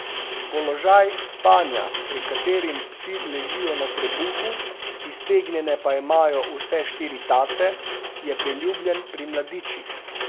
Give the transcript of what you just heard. Položaj spanja, pri katerim psi ležijo na trebuhu, iztegnjene pa imajo vse štiri tace, je priljubljen pri mladičih.